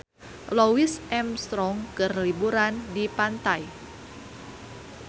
Louis Armstrong keur liburan di pantai